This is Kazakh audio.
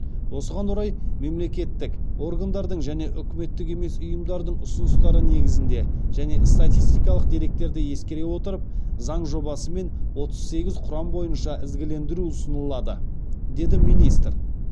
осыған орай мемлекеттік органдардың және үкіметтік емес ұйымдардың ұсыныстары негізінде және статистикалық деректерді ескере отырып заң жобасымен отыз сегіз құрам бойынша ізгілендіру ұсынылады деді министр